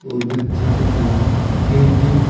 और बच्चों के खिलौने रखे हैं।